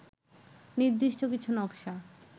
নির্দিষ্ট কিছু নকশা